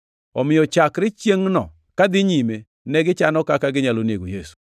Omiyo chakre chiengʼno kadhi nyime negichano kaka ginyalo nego Yesu.